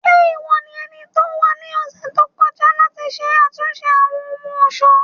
Ṣe iwọ ni ẹniti o wa ni ọsẹ to kọja lati ṣe atunṣe Awọn ohun-ọṣọ?